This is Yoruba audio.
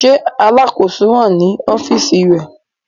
Ṣe Alakoso ni ọfiisi rẹ?